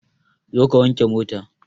Zo ka wanke mota!